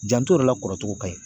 Janto i yɛrɛ la kɔrɔcogo ka ɲi.